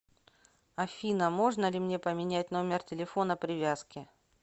афина можно ли мне поменять номер телефона привязки